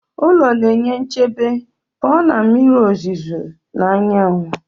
Ụlọ na-enye nchebe pụọ na mmiri ozuzo na anyanwụ